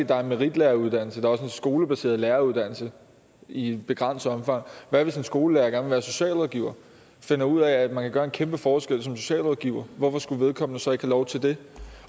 der er en meritlæreruddannelse og er en skolebaseret læreruddannelse i begrænset omfang hvad hvis en skolelærer være socialrådgiver finder ud af at man kan gøre en kæmpe forskel som socialrådgiver hvorfor skulle vedkommende så ikke have lov til det